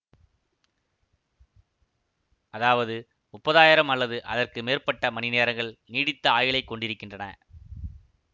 அதாவது முப்பதாயிரம் அல்லது அதற்கு மேற்பட்ட மணி நேரங்கள் நீடித்த ஆயுளைக் கொண்டிருக்கின்றன